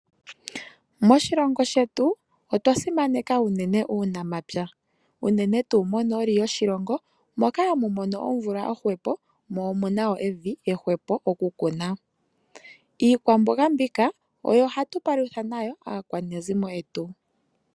Moshilongo shetu otwa simaneka unene uunamapya. Unene tuu monooli yoshilongo moka hamu mono omvula ohwepo, omu na evi ehwepo okukuna. Iikwambonga mbika oyo hatu palutha nayo aakwanezimo yetu.